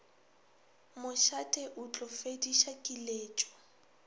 mošate o tlo fediša kiletšo